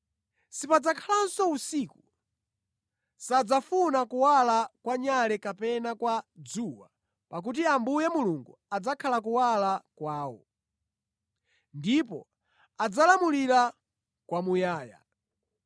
Sipadzakhalanso usiku. Sadzafuna kuwala kwa nyale kapena kwa dzuwa pakuti Ambuye Mulungu adzakhala kuwala kwawo. Ndipo adzalamulira kwamuyaya.